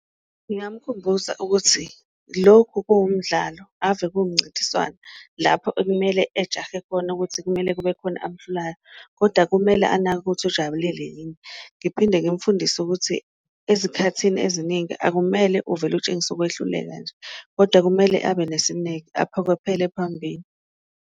Ngingamkhumbuza ukuthi lokhu kuwumdlalo ave kuwumncintiswano lapho ekumele ejahe khona ukuthi kumele kube khona amuhlulayo, kodwa kumele anake ukuthi jabulile yini. Ngiphinde ngimfundise ukuthi ezikhathini eziningi akumele uvele utshengise ukwehluleka nje, kodwa kumele abe nesineke aphokophele phambili.